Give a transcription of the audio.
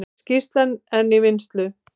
Skýrslan enn í vinnslu